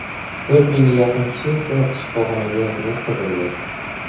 To‘rt mingga yaqin kishi esa shifoxonaga yotqizildi.